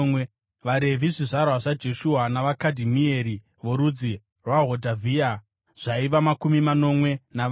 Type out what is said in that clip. VaRevhi: zvizvarwa zvaJeshua navaKadhimieri (vorudzi rwaHodhavhia) zvaiva makumi manomwe navana.